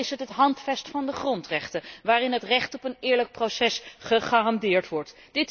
Verder is er het Handvest van de grondrechten, waarin het recht op een eerlijk proces gegarandeerd wordt.